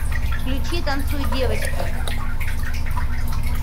включи танцуй девочка